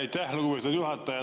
Aitäh, lugupeetud juhataja!